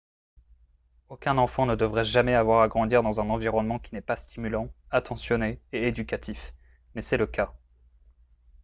aucun enfant ne devrait jamais avoir à grandir dans un environnement qui n'est pas stimulant attentionné et éducatif mais c'est le cas